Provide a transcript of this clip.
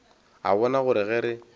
a bona gore ge re